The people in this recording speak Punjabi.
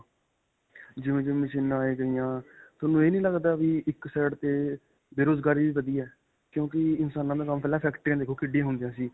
ਜਿਵੇਂ-ਜਿਵੇਂ ਮਸ਼ੀਨਾ ਆਈ ਗਈਆਂ, ਤੁਹਾਨੂੰ ਇਹ ਨਹੀਂ ਲੱਗਦਾ ਵੀ ਇੱਕ side ਤੇ ਬੇਰੁਜਗਾਰੀ ਵੀ ਵਧੀ ਹੈ. ਕਿਉਂਕਿ ਇਨਸਾਨਾਂ ਦਾ ਕੰਮ ਪਹਿਲਾਂ factory ਦੇਖੋ ਕਿਡੀਆਂ ਹੁੰਦੀਆਂ ਸੀ .